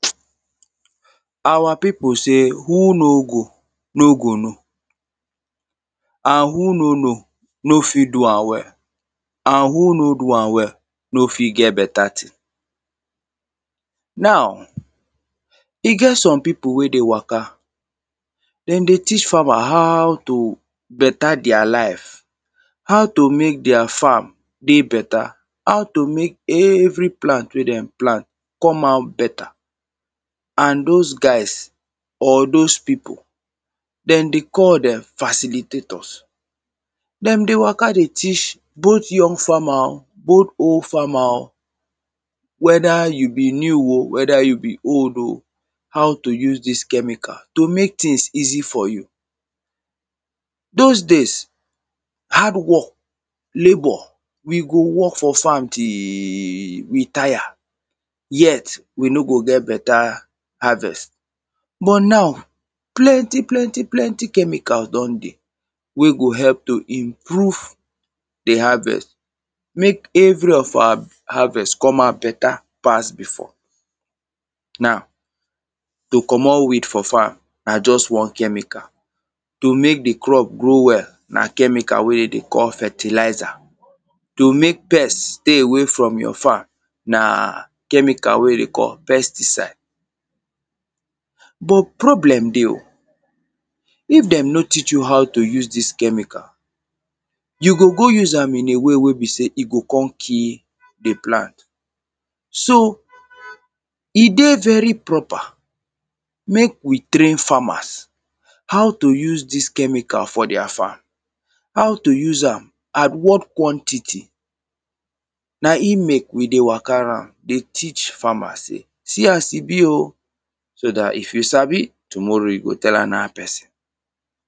Our people say, who no go, no go know. And who no know, no fit do am well. And who no do am well, no fit get beta thing. Now, e get some people wey dey waka, them dey teach farmer how to beta their life. How to mek their farm dey beta. How to mek every plant wey them plant come out beta. And those guys or those people, them dey call them facilitators. Them dey waka dey teach both young farmer o, both old farmer o. whether you be new o, whether you be old o, How to use dis chemical to mek things easy for you. Those days, hardwork, labour, we go work for farm till we tire. Yet, we no go get beta harvest. But now, plenty, plenty, plenty chemical don dey wey go help to improve the harvest. mek every of our harvest come out beta pass before. Now, to commot weed for farm, na just one chemical. To mek the crops grow well, na chemical wey they call fertilizer. To mek pest stay away from your farm, na chemical wey they call pesticide. But, problem dey o. if them no teach you how to use dis chemical, you go go use am in a way wey be say e go come kill the plant. So, e dey very proper mek we train farmers how to use dis chemical for their farm. How to use am at what quantity. Na e mek we dey waka round dey teach farmers say, 'see as e be o' so dat if you sabi tomorrow, you go tell another person.